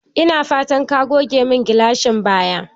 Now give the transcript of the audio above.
Ina fatan ka goge mun gilashin baya?